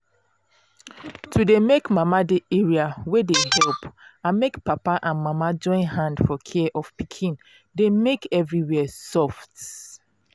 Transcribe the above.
to dey make mama dey area wey dey help and make papa and mama join hand for care of pikin dey make everywhere soft